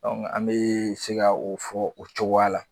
An bi se ka o fɔ o cogoya la